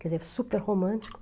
Quer dizer, super romântico.